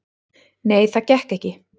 """Nei, það gekk ekki."""